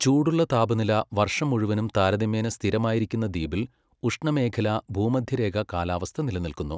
ചൂടുള്ള താപനില വർഷം മുഴുവനും താരതമ്യേന സ്ഥിരമായിരിക്കുന്ന ദ്വീപിൽ ഉഷ്ണമേഖലാ, ഭൂമധ്യരേഖാ കാലാവസ്ഥ നിലനിൽക്കുന്നു.